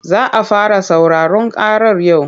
Za a fara sauraron ƙarar yau.